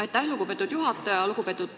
Aitäh, lugupeetud juhataja!